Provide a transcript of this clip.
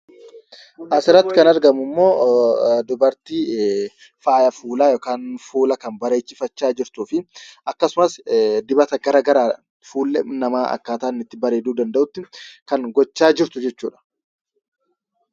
Asirratti kan argamu immoo dubartii faaya fuulaa yookaan fuula kan bareechifachaa jirtuu fi akkasumas dibata garaagaraan fuulli namaa akkaataa inni itti bareeduu danda'utti kan gochaa jirtu jechuudha.